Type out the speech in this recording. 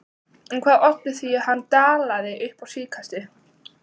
En hvað olli því að hann dalaði upp á síðkastið?